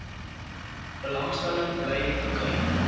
belangstelling bly toekyk